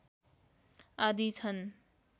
आदि छन्